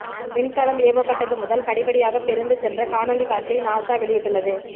விண்கலம் ஏவப்பட்டது முதல் படிபடியாக பிரிந்து சென்ற காணொளி காட்சியை நாசா வெளியிட்டுள்ளது